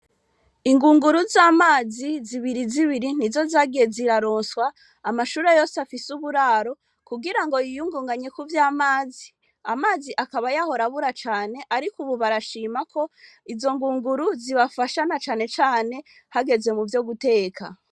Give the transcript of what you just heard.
Ingunguru z'amazi zibiri zibiri ni zo zagiye ziraronswa amashure yose afise uburaro, kugira ngo yiyungunganye ku vy'amazi, amazi akaba yahora abura cane, ariko ubu barashima ko, izo ngunguru zibafasha na cane cane hageze mu vyo guteka.